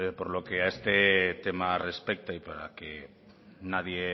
por lo que a este tema respecta y para que nadie